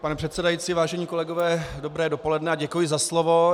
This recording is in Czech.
Pane předsedající, vážení kolegové, dobré dopoledne a děkuji za slovo.